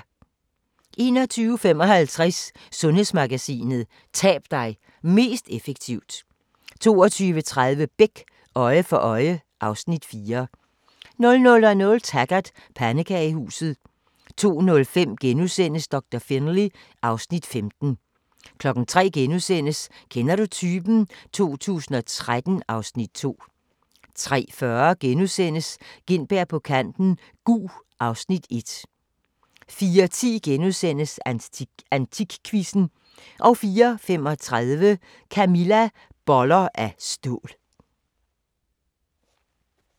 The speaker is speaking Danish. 21:55: Sundhedsmagasinet: Tab dig mest effektivt 22:30: Beck: Øje for øje (Afs. 4) 00:00: Taggart: Pandekagehuset 02:05: Doktor Finlay (Afs. 15)* 03:00: Kender du typen? 2013 (Afs. 2)* 03:40: Gintberg på kanten - Gug (Afs. 1)* 04:10: AntikQuizzen * 04:35: Camilla - Boller af stål